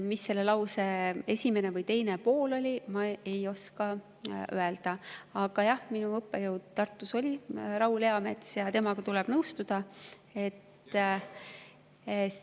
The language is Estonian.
Mis selle lause esimene või teine pool oli, ma ei oska öelda, aga jah, minu õppejõud Tartus oli Raul Eamets ja temaga tuleb nõustuda.